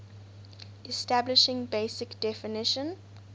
establishing basic definition